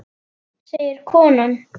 segir konan.